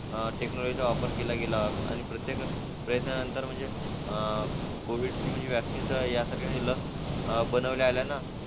अं टेक्नॉलॉजीचा वापर केला गेला प्रत्येकाचा प्रयत्नानंतर कोविड- वैक्सीन चा या सर्व लस अह बनवता आल्याने